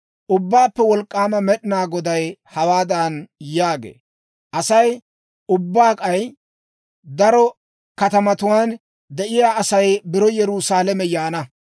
«Ubbaappe Wolk'k'aama Med'inaa Goday hawaadan yaagee; ‹Asay, ubbaa k'ay daro katamatuwaan de'iyaa Asay biro Yerusaalame yaana.